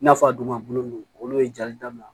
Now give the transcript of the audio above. N'a fɔ a dun ma bolo olu ye jali daminɛ